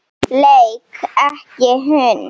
Leik ekki hund.